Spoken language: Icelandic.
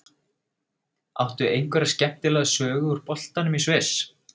Áttu einhverja skemmtilega sögu úr boltanum í Sviss?